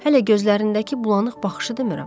Hələ gözlərindəki bulanıq baxışı demirəm.